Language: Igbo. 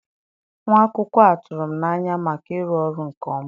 Nwa akwụkwọ a tụrụ m n'anya maka ịrụ ọrụ nke ọma.